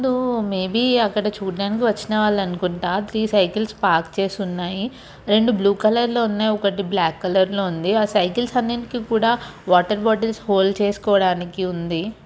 దో maybe అతడు చూడ్డానికి వచ్చిన వాళ్ళు అనుకుంటాత్రీ సైకిల్స్ పార్క్ చేసి ఉన్నాయి రెండు బ్లూ కలర్ లో ఉన్నాయిఒకటి బ్లాక్ కలర్ లో ఉందిఆ సైకిల్స్ కి అన్నిటికీ కూడా వాటర్ బాటిల్స్ హోల్డ్ చేసుకోవడానికి ఉంది.